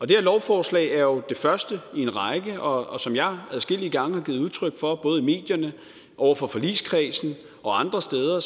det her lovforslag er jo det første i en række og som jeg adskillige gange har givet udtryk for både i medierne over for forligskredsen og andre steder